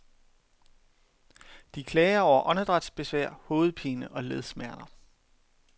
De klager over åndedrætsbesvær, hovedpine og ledsmerter.